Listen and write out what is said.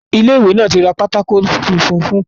Ilé ìwé náà tí ra pátákó funfun fún kíláàsì náà